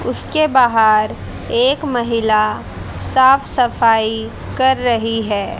उसके बहार एक महिला साफ सफाई कर रही है।